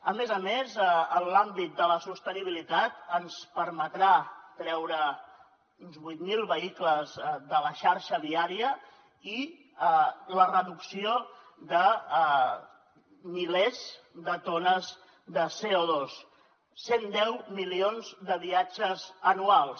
a més a més en l’àmbit de la sostenibilitat ens permetrà treure uns vuit mil vehicles de la xarxa viària i la reducció de milers de tones de coges anuals